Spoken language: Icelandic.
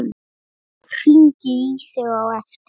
Hringi í þig á eftir.